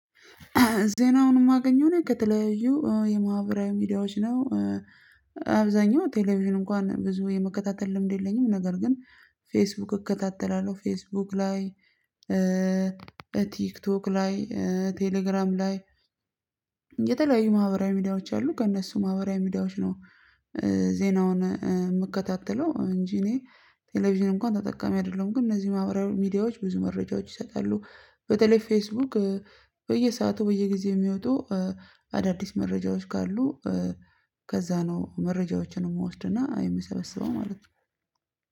ዜናውን የማገኘው እኔ ከተለያዩ የማህበራዊ ሚዲያዎች ነው። አብዛኛው ቴሌቪዥን እንኳን ብዙ የመከታተል ልምድ የለኝም ነገር ግን ፌስቡክ እከታተላለሁ ፌስቡክ ላይ ቲክቶክ ላይ ቴሌግራም ላይ። የተለያዩ ማህበራዊ ሚዲያዎች አሉ ከእነሱ ማህበራዊ ሚዲያዎች ነው። ዜናውን የምከታተለው እንጂ እኔ ቴሌቪዥን እንኳን ተጠቃሚ አይደለም። ግን እነዚህ ማህበራዊ ሚዲያዎች ብዙ መረጃዎች ይሰጣሉ በተለይ ፌስቡክ በየሰአቱ በየጊዜው የሚወጡ አዳዲስ መረጃዎች ካሉ። ከዛ ነው መረጃዎችን የምወስድና የምሰበስበው ማለት ነው።